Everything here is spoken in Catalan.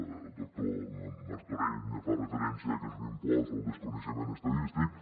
el doctor martorell fa referència que és un impost al desconeixement estadístic